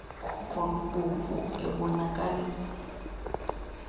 khuko lubomvu ebonakalisa